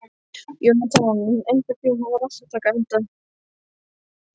Jónatan, einhvern tímann þarf allt að taka enda.